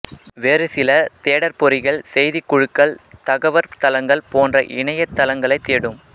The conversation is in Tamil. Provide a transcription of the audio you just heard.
வேறுசில தேடற்பொறிகள் செய்திக் குழுக்கள் தகவற்தளங்கள் போன்ற இணையத் தளங்களைத் தேடும்